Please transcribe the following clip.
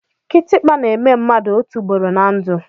Kitikpa na-èmè mmadụ otu ụugboro ná ndụ